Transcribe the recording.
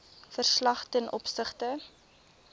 verslag ten opsigte